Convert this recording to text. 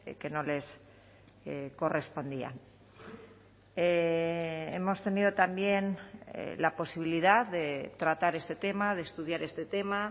que no les correspondían hemos tenido también la posibilidad de tratar este tema de estudiar este tema